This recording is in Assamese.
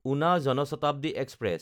উনা জন শতাব্দী এক্সপ্ৰেছ